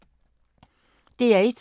DR1